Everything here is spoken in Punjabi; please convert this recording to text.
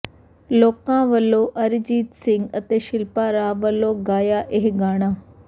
ਲੋਕਾਂ ਵੱਲੋਂ ਅਰਿਜੀਤ ਸਿੰਘ ਅਤੇ ਸ਼ਿਲਪਾ ਰਾਵ ਵਲੋਂ ਗਾਇਆ ਇਹ ਗਾਣਾ